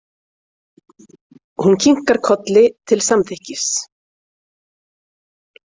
Hún kinkar kolli til samþykkis.